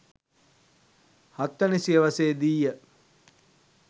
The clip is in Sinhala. හත්වැනි සියවසේ දී ය.